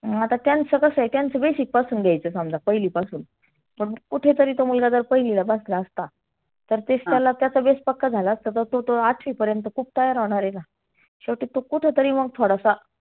अं त्यांच कसं आहे त्यांच basic पासुन घ्यायच समजा पहिली पासून. फ कुठे तरी तो मुलगा जर पहिलीला बसला असता. तर तेच त्याला त्याचा base पक्का झाला असता आता तो आठवी पर्यंत खुप तयार होणार आहे का? शेवटी मग तो कुठे तरी थोडासा.